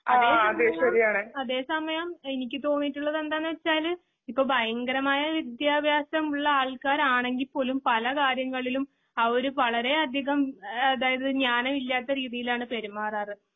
അതെസമയം എനിക്കുതോന്നിയിട്ടുള്ളത് എന്താന്നുവെച്ചാല് ഇപ്പൊ ഭയങ്കരമായ വിദ്ത്യഭ്യാസം ഉള്ള ആൾക്കാരാണെങ്കിൽ പോലും പലകാര്യങ്ങളും അവര് വളരെയതികം ആ അതായത് ജ്ഞാനമില്ലാത്തരീതിയിലാണ് പെരുമാറാറ്